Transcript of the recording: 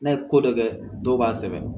N'a ye ko dɔ kɛ dɔw b'a sɛbɛn